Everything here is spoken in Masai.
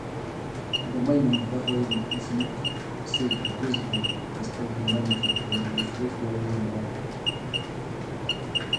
Ore enturunoto in ilata nesidai amu keinyal tunganisho teneinyal oloingange.